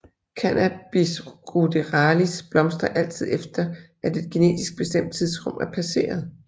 Cannabis ruderalis blomstrer altid efter at et genetisk bestemt tidsrum er passeret